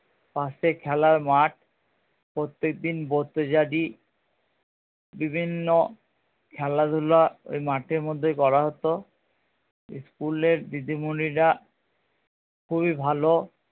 পাশে খেলার মাঠ প্রত্যেকদিন বিভিন্ন খেলাধুলা ওই মাঠের মধ্যেই করা হতো school এর দিদিমণিরা খুবই ভালো